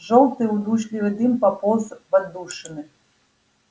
жёлтый удушливый дым пополз в отдушины